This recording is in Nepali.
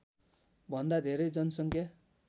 भन्दा धेरै जनसङख्या